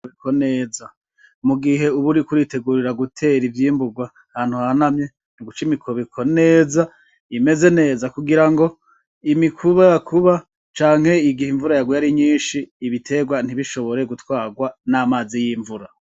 Biko neza mu gihe uburi kuritegurira gutera ivyimburwa hantu hanamye ntuguca imikobiko neza imeze neza kugira ngo imikubakuba canke igihe imvura yaguye ari nyinshi ibiterwa ntibishobore gutwarwa n'amazi y'imvura.